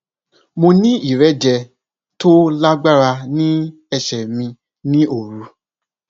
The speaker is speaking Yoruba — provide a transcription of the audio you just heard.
mo ní ìrẹjẹ tó lágbára ní ẹsẹ mi ní òru